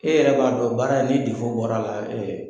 E yɛrɛ b'a dɔn baara ni bɔr'a la